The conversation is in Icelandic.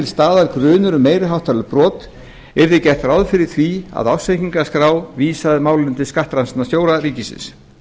staðar grunur um meiri háttar brot yrði gert ráð fyrir því að ársreikningaskrá vísaði máli til skattrannsóknarstjóra ríkisins